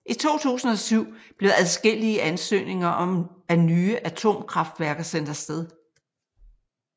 I 2007 blev adskillige ansøgninger om nye atomkraftværker sendt afsted